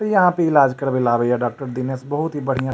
ई यहाँ पे इलाज करवेला आवई अ डॉक्टर दिनेश बहुत ही बढ़िया --